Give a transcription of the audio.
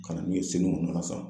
Ka na n'u ye Senu